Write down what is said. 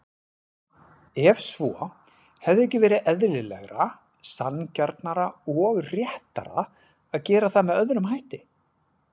Ef svo, hefði ekki verið eðlilegra, sanngjarnara og réttara að gera það með öðrum hætti?